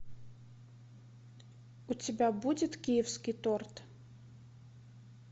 у тебя будет киевский торт